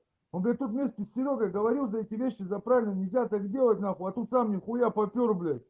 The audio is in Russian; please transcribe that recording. вот это вместе с серёгой говорил за эти вещи за правильно нельзя так делать нахуя а тут сам нихуя папер бля